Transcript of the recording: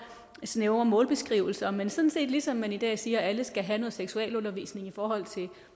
snævre målbeskrivelser men sådan set ligesom man i dag siger at alle skal have noget seksualundervisning om